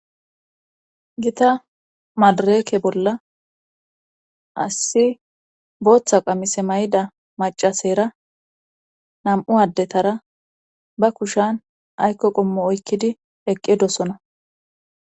gita madareke bolla assi booththa qamise may7ida macasera nam7u addetara ba kushan aykko qommo oykkidi eqqedosona